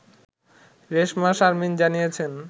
রেশমা শারমীন জানিয়েছেন